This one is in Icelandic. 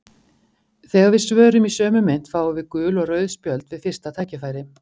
Þegar við svörum í sömu mynt fáum við gul og rauð spjöld við fyrsta tækifæri.